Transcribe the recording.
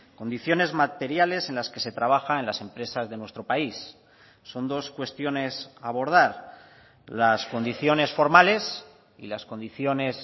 condiciones materiales en las que se trabaja en las empresas de nuestro país son dos cuestiones a abordar las condiciones formales y las condiciones